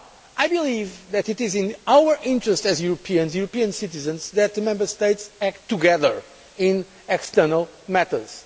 I believe that it is in our interest as Europeans, European citizens, that the Member States act together in external matters.